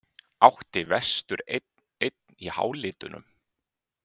Átti vestur einn-einn í hálitunum?